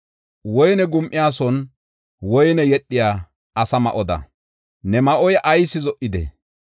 Woyne gum7iyason woyne yedhiya asa ma7oda ne ma7oy ayis zo77idee?